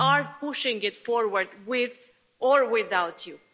We are pushing it forward, with or without you.